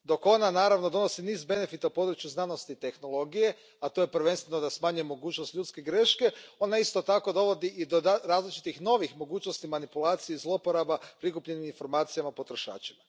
Dok ona, naravno, donosi niz benefita u području znanosti i tehnologije, a to je prvenstveno da smanjuje mogućnost ljudske greške, ona isto tako dovodi i do različitih novih mogućnosti manipulacija i zloporaba prikupljenih informacija o potrošačima.